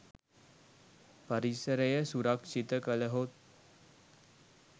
පරිසරය සුරක්‍ෂිත කළහොත්